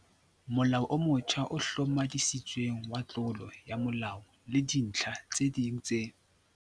Molao o motjha o Hlomathisitsweng wa Tlolo ya molao le Dintlha tse ding tse.